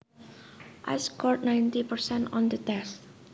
I scored ninety percent on the test